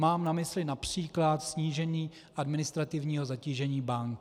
Mám na mysli například snížení administrativního zatížení bank.